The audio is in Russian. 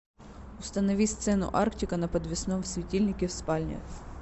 установи сцену арктика на подвесном светильнике в спальне